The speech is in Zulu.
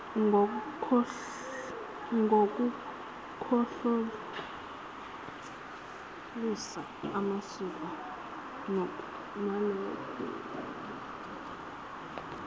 ngokuhlolisisa amasiko nalokho